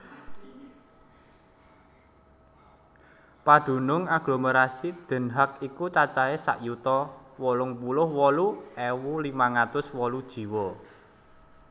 Padunung aglomerasi Den Haag iku cacahé sak yuta wolung puluh wolu ewu limang atus wolu jiwa